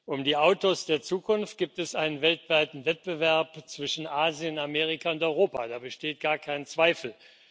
Um die Autos der Zukunft gibt es einen weltweiten Wettbewerb zwischen Asien, Amerika und Europa, da besteht gar kein Zweifel.